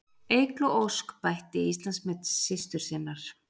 Eygló Ósk bætti Íslandsmet systur sinnar